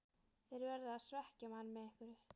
Þeir verða að svekkja mann með einhverju.